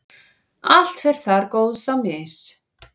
allt fer þar góðs á mis.